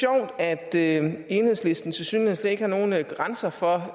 det er lidt sjovt enhedslisten tilsyneladende slet ikke har nogen grænse for